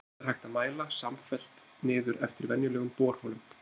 Allt þetta er hægt að mæla samfellt niður eftir venjulegum borholum.